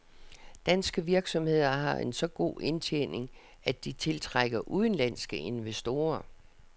Danske virksomheder har en så god indtjening, at de tiltrækker udenlandske investorer.